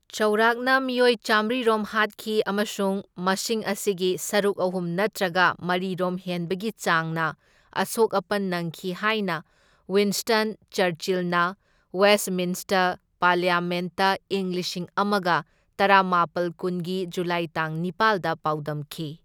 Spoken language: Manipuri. ꯆꯥꯎꯔꯥꯛꯅ ꯃꯤꯑꯣꯏ ꯆꯥꯝꯃ꯭ꯔꯤ ꯔꯣꯝ ꯍꯥꯠꯈꯤ ꯑꯃꯁꯨꯡ ꯃꯁꯤꯡ ꯑꯁꯤꯒꯤ ꯁꯔꯨꯛ ꯑꯍꯨꯝ ꯅꯠꯇ꯭ꯔꯒ ꯃꯔꯤ ꯔꯣꯝ ꯍꯦꯟꯕꯒꯤ ꯆꯥꯡꯅ ꯑꯁꯣꯛ ꯑꯄꯟ ꯅꯪꯈꯤ ꯍꯥꯏꯅ ꯋꯤꯟꯁ꯭ꯇꯟ ꯆꯔꯆꯤꯜꯅ ꯋꯦꯁ꯭ꯠꯃꯤꯟꯁ꯭ꯇꯔ ꯄꯥꯔꯂꯤꯌꯥꯃꯦꯟꯠꯇ ꯏꯪ ꯂꯤꯁꯤꯡ ꯑꯃꯒ ꯇꯔꯥꯃꯥꯄꯜ ꯀꯨꯟꯒꯤ ꯖꯨꯂꯥꯏ ꯇꯥꯡ ꯅꯤꯄꯥꯜꯗ ꯄꯥꯎꯗꯝꯈꯤ꯫